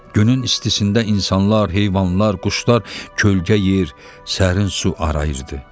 Günün istisində insanlar, heyvanlar, quşlar kölgə yer, sərin su arayırdı.